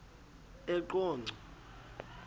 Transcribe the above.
eqonco